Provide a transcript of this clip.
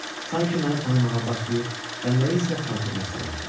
Sanki məni tanımağa başlayır və nəyisə xatirinə salırdı.